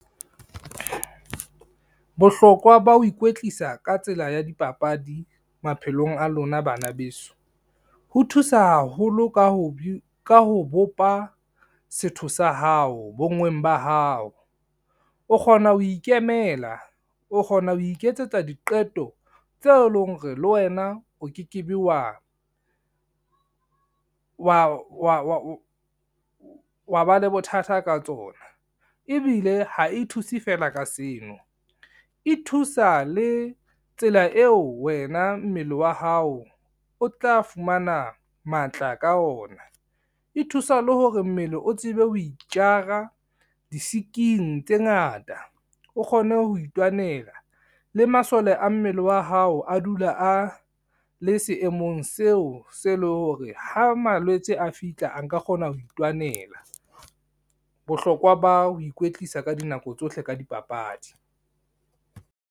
Bohlokwa ba ho ikwetlisa ka tsela ya dipapadi maphelong a lona bana beso, ho thusa haholo ka ho bopa setho sa hao, bonngweng ba hao, o kgona ho ikemela, o kgona ho iketsetsa diqeto tseo e lo reng le wena o ke ke be, wa ba le bothata ka tsona. Ebile ha e thuse fela ka seno, e thusa le tsela eo wena mmele wa hao o tla fumana matla ka ona, e thusa le hore mmele o tsebe ho itjara di-sick-ing tse ngata. O kgone ho itwanela le masole a mmele wa hao a dula a le seemong seo se le hore, ha malwetse a fihla a nka kgona ho itwanela. Bohlokwa ba ho ikwetlisa ka dinako tsohle ka dipapadi.